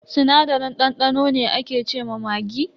Sinadarin dandano ne ake ce ma maggi.